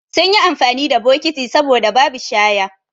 Sunyi amfani da bokiti saboda babi shaya